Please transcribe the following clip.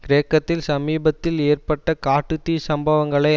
கிரேக்கத்தில் சமீபத்தில் ஏற்பட்ட காட்டு தீ சம்பவங்களை